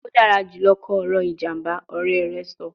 O dara julọ kọ ọrọ ijamba, ọrẹ rẹ sọ